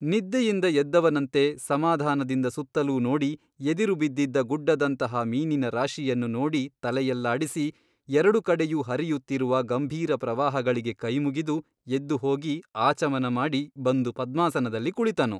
ನಿದ್ದೆಯಿಂದ ಎದ್ದವನಂತೆ ಸಮಾಧಾನದಿಂದ ಸುತ್ತಲೂ ನೋಡಿ ಎದಿರು ಬಿದ್ದಿದ್ದ ಗುಡ್ಡದಂತಹ ಮೀನಿನ ರಾಶಿಯನ್ನು ನೋಡಿ ತಲೆಯಲ್ಲಾಡಿಸಿ ಎರಡು ಕಡೆಯೂ ಹರಿಯುತ್ತಿರುವ ಗಂಭೀರಪ್ರವಾಹಗಳಿಗೆ ಕೈ ಮುಗಿದು ಎದ್ದುಹೋಗಿ ಆಚಮನ ಮಾಡಿ ಬಂದು ಪದ್ಮಾಸನದಲ್ಲಿ ಕುಳಿತನು.